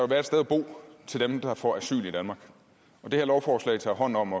være et sted at bo til dem der får asyl i danmark og det her lovforslag tager hånd om